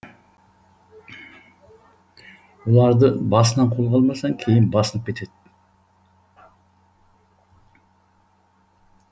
оларды басынан қолға алмасаң кейін басынып кетеді